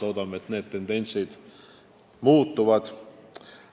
Loodame, et need tendentsid muutuvad.